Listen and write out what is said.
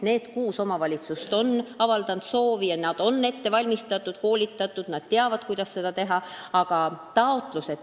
Need kuus omavalitsust on soovi avaldanud ja neid on ette valmistatud, koolitatud: nad teavad, kuidas seda teha.